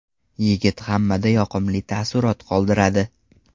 Yigit hammada yoqimli taassurot qoldiradi.